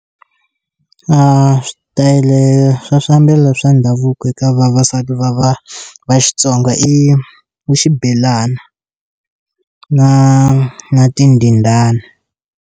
A swi tele swa swiambalo swa ndhavuko eka vavasati va va va Xitsonga i i xibelana na na tindindani.